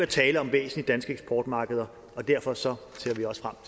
tale om væsentlige danske eksportmarkeder derfor ser